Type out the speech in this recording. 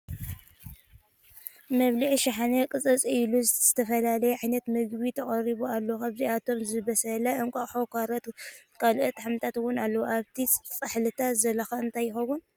መብልዒት ሸሓነ ቕፅፅ ኢሉ ዝተላለየ ዓይነታት ምግቢ ተቐሪቡ ኣሎ ፡ ከብኣቶም ዝበሰለ እንቛቑሒ፣ ካሮት ን ካልኦት ሓምልታት'ውን ኣለዉ ፡ ኣብቲ ፃሕልታት ዘሎኸ እንታይ ይኸውን ?